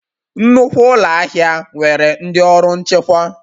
Nnukwu ụlọ ahịa nwere ndị ọrụ nchekwa